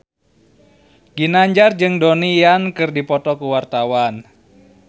Ginanjar jeung Donnie Yan keur dipoto ku wartawan